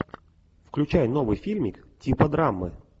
включай новый фильмик типа драмы